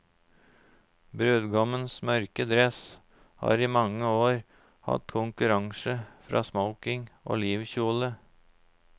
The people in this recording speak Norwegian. Brudgommens mørke dress har i mange år hatt konkurranse fra smoking og livkjole.